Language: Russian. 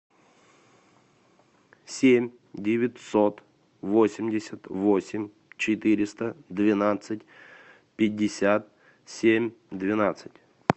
семь девятьсот восемьдесят восемь четыреста двенадцать пятьдесят семь двенадцать